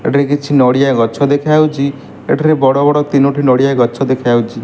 ଏଠିରେ କିଛି ନଡ଼ିଆ ଗଛ ଦେଖାଯାଉଛି ଏଠିରେ ବଡ଼ ବଡ଼ ତିନୋଟି ନଡ଼ିଆ ଗଛ ଦେଖାଯାଉଛି।